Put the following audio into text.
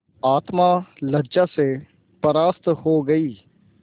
आत्मा लज्जा से परास्त हो गयी